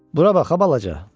Bura bax ha, balaca.